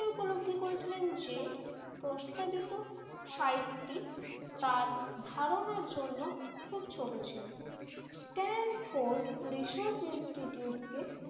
ছিলেন যে প্রস্তাবিত সাইট টি তার ধারণার জন্য খুব ছোট ছিল। স্টেন ফোর্ড রিসার্চ ইনস্টিটিউট কে